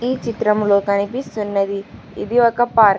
ఈ చిత్రములొ కనిపిస్తున్నది ఇది ఒక పార్క్ .